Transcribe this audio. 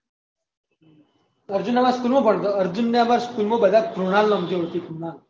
અર્જુન એ અમને school ભણતા હતા અર્જુન ને અમે સ્કૂલ બધા કુણાલ હમજું હતું કુણાલ